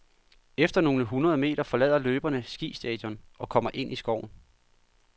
Efter nogle hundrede meter forlader løberne skistadion og kommer ind i skoven.